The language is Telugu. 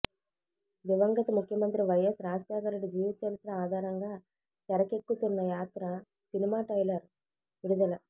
దివంగత ముఖ్యమత్రి వైఎస్ రాజశేఖర్ రెడ్డి జీవిత చరిత్ర ఆధారంగా తెరకెక్కుతున్న యాత్ర సినిమా ట్రైలర్ విడుదల